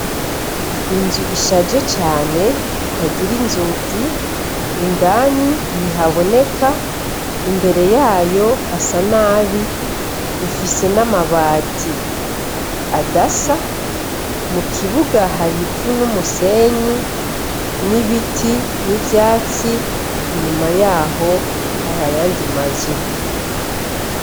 Inzu ishaje cane itagira inzugi, indani ntihaboneka, imbere yayo hasa nabi, ifise n'amabati adasa, mu kibuga hari ivu n'umusenyi n'ibiti n'ivyatsi, inyuma yaho hari ayandi mazu.